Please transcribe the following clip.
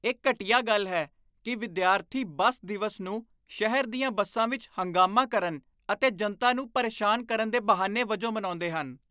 ਇਹ ਘਟੀਆ ਗੱਲ ਹੈ ਕਿ ਵਿਦਿਆਰਥੀ ਬੱਸ ਦਿਵਸ ਨੂੰ ਸ਼ਹਿਰ ਦੀਆਂ ਬੱਸਾਂ ਵਿੱਚ ਹੰਗਾਮਾ ਕਰਨ ਅਤੇ ਜਨਤਾ ਨੂੰ ਪਰੇਸ਼ਾਨ ਕਰਨ ਦੇ ਬਹਾਨੇ ਵਜੋਂ ਮਨਾਉਂਦੇ ਹਨ।